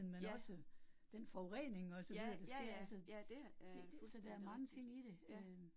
Ja. Ja, ja ja, ja det er fuldstændig rigtigt, ja